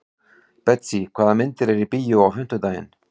Betsý, hvaða myndir eru í bíó á fimmtudaginn?